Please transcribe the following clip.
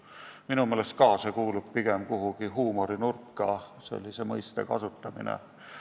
Ka minu meelest kuulub sellise mõiste kasutamine pigem kuhugi huumorinurka.